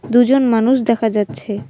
দুজন মানুষ দেখা যাচ্ছে।